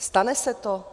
Stane se to?